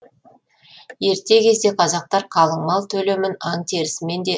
ерте кезде қазақтар қалыңмал төлемін аң терісімен де